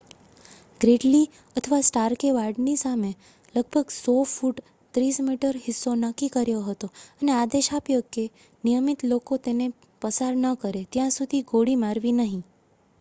ગ્રીડલી અથવા સ્ટાર્કે વાડની સામે લગભગ 100 ફુટ 30 મી હિસ્સો નક્કી કર્યો હતો અને આદેશ આપ્યો કે કે નિયમિત લોકો તેને પસાર ન કરે ત્યાં સુધી ગોળી મારવી નહીં